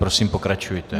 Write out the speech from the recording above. Prosím, pokračujte.